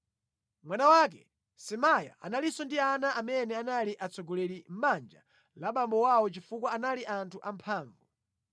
Mwana wake Semaya analinso ndi ana amene anali atsogoleri mʼbanja la abambo awo chifukwa anali anthu amphamvu.